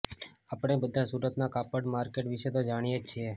આપણે બધા સુરતના કાપડ માર્કેટ વિશે તો જાણીએ જ છીએ